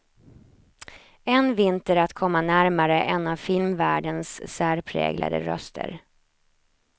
En vinter att komma närmare en av filmvärldens särpräglade röster.